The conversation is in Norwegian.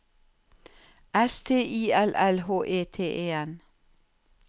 S T I L L H E T E N